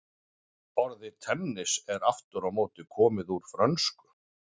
Orðið tennis er aftur á móti komið úr frönsku.